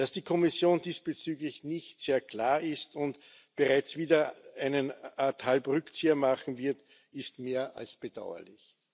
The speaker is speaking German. Dass die Kommission diesbezüglich nicht sehr klar ist und bereits wieder eine Art halben Rückzieher machen wird, ist mehr als bedauerlich.